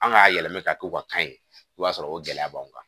An ka yɛlɛmɛ ka to ka kan ye i b'a sɔrɔ o gɛlɛya b'anw kan